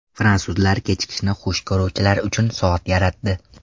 Fransuzlar kechikishni xush ko‘ruvchilar uchun soat yaratdi.